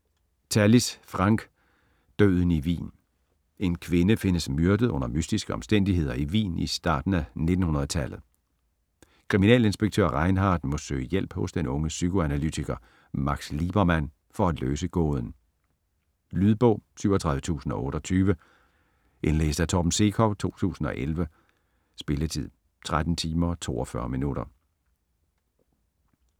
Tallis, Frank: Døden i Wien En kvinde findes myrdet under mystiske omstændigheder i Wien i starten af 1900-tallet. Kriminalinspektør Rheinhardt må søge hjælp hos den unge psykoanalytiker Max Liebermann for at løse gåden. Lydbog 37028 Indlæst af Torben Sekov, 2011. Spilletid: 13 timer, 42 minutter.